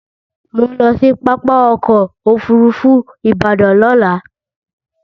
Mò ń lọ sí pápá ọkọ̀ Òfurufú Ìbàdàn lọ́la